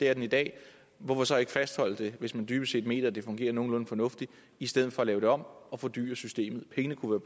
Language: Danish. er i dag hvorfor så ikke fastholde det hvis man dybest set mener at det fungerer nogenlunde fornuftigt i stedet for at lave det om og fordyre systemet pengene kunne